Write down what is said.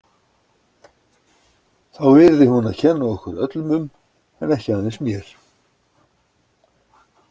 Þá yrði hún að kenna okkur öllum um en ekki aðeins mér.